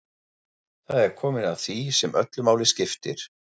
Það er komið að því sem öllu máli skiptir.